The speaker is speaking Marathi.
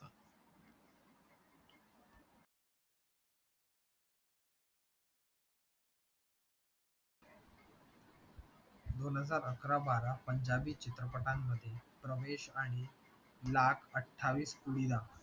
दोन हजार अकरा बारा पंजाबी चित्रपटांमध्ये प्रवेश आणि लाख अठ्ठावीस कुडी दा